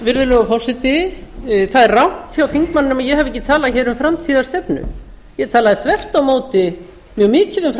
virðulegur forseti það er rangt hjá þingmanninum að ég hafi ekki talað hér um framtíðarstefnu ég talaði þvert á móti mjög mikið um